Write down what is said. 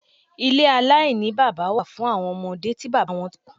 Ilé aláìní bábá wà fún awọn ọmọde tí bábá wọn tí kú.